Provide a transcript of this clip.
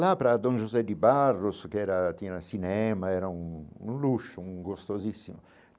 Lá para Don José de Barros, que era tinha cinema, era um um luxo, um gostosíssimo.